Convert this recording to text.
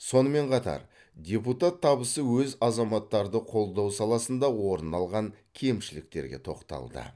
сонымен қатар депутат табысы өз азаматтарды қолдау саласында орын алған кемшіліктерге тоқталды